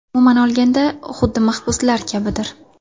Umuman olganda, xuddi mahbuslar kabidir.